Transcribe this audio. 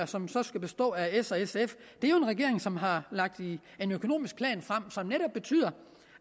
som så skal bestå af s og sf er jo en regering som har lagt en økonomisk plan frem som netop betyder